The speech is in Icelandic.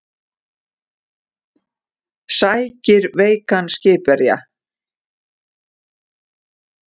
Sækir veikan skipverja